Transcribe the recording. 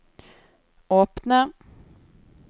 åpne